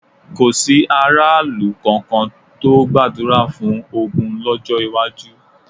Kò sí aráàlú kankan tó gbàdúrà fún ogun lọ́jọ́ iwájú.